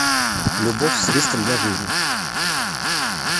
любовь с риском для жизни